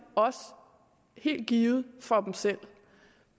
også helt givet for dem selv